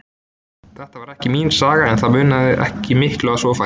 Þetta var ekki mín saga, en það munaði ekki miklu að svo færi.